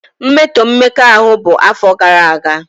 mmetọ mmekọahụ bụ afọ gara aga.